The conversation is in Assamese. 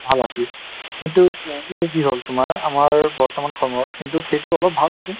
ভাল আছিল , কিন্তু কি হ'ল তোমাৰ , আমাৰ বৰ্তমান সময়ত কিন্তু সেইটো অলপ ভাল হৈছে |